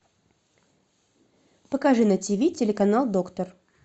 покажи на тиви телеканал доктор